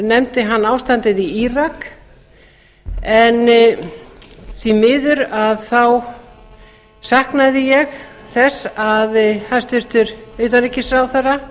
utanríkisráðherra nefndi hann ástandið í írak en því miður þá saknaði ég þess að hæstvirtur utanríkisráðherra